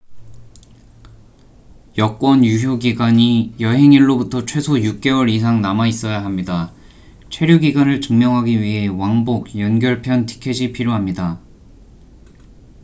여권 유효 기간이 여행 일로부터 최소 6개월 이상 남아 있어야 합니다. 체류 기간을 증명하기 위해 왕복/연결 편 티켓이 필요합니다